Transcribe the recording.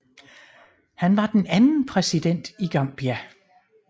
Han var den anden præsident i Gambia